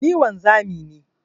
Ni wanzami ne.